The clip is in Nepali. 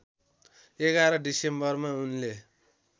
११ डिसेम्बरमा उनले